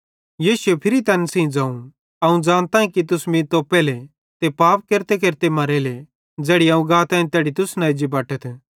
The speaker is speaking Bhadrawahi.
यीशुए फिरी तैन सेइं ज़ोवं अवं ज़ानताईं कि तुस मीं तोप्पेले ते पाप केरतेकेरते मरेले ज़ैड़ी अवं गाताईं तैड़ी तुस न एज्जी बटथ